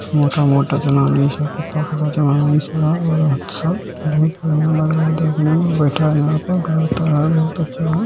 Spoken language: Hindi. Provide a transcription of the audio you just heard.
मोटा-मोटा जनानी सब पतला-पतला जनानी सब बहुत बढ़िया लग रहा है देखने में बैठा है यह पर घर तर है बहुत अच्छा है।